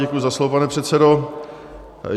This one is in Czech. Děkuji za slovo, pane předsedo.